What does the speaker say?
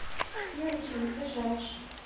мюнхен ближайший